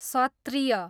सत्त्रीय